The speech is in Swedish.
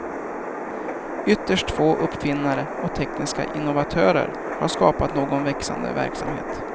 Ytterst få uppfinnare och tekniska innovatörer har skapat någon växande verksamhet.